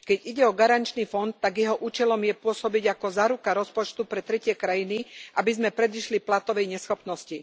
Keď ide o garančný fond, tak jeho účelom je pôsobiť ako záruka rozpočtu pre tretie krajiny, aby sme predišli platobnej neschopnosti.